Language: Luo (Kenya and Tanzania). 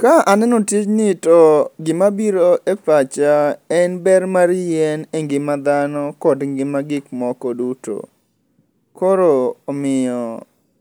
Ka aneno tijni to gimabiro e pacha en ber mar yien e ngima dhano kod ngima gik moko duto. Koro omiyo